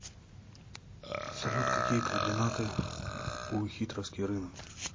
салют какие координаты у хитровский рынок